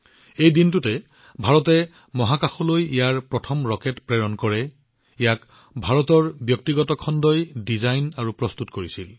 সেই দিনটোতে ভাৰতে মহাকাশলৈ এনে ধৰণৰ প্ৰথম ৰকেট প্ৰেৰণ কৰে যাক ভাৰতৰ ব্যক্তিগত খণ্ডই ডিজাইন আৰু প্ৰস্তুত কৰিছিল